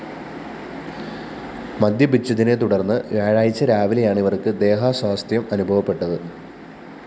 മദ്യപിച്ചതിനെ തുടര്‍ന്ന് വ്യാഴാഴ്ച രാവിലെയാണ് ഇവര്‍ക്കു ദേഹാസ്വാസ്ഥ്യം അനുഭവപ്പെട്ടത്